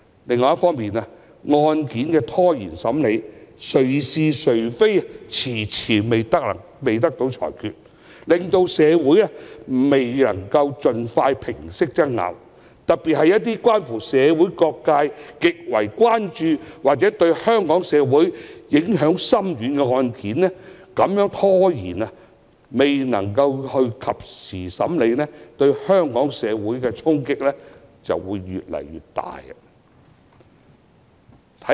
另一方面，案件的審理被拖延，誰是誰非遲遲未得到裁決，亦令社會上的爭拗未能盡快平息，特別是一些社會各界極為關注或對香港社會影響深遠的案件，越遲審理，對香港社會的衝擊便越大。